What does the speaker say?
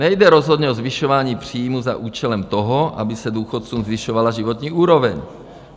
Nejde rozhodně o zvyšování příjmů za účelem toho, aby se důchodcům zvyšovala životní úroveň.